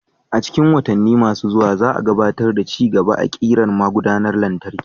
A cikin watanni masu zuwa, za a gabatar da ci gaba a ƙirar magudanar lantarki.